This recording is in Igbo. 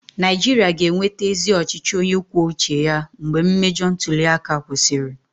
Naijiria ga-enweta ezi ọchịchị onye kwuo uche ya mgbe mmejọ ntuli aka kwụsịrị.